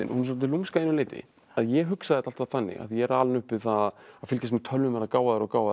svolítið lúmsk að einu leyti ég hugsaði þetta alltaf þannig af því ég er alinn upp við það að fylgjast með tölvum verða gáfaðri og gáfaðri